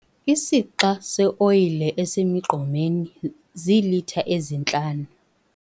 Isixa seoyile esisemgqomeni ziilitha ezintlanu.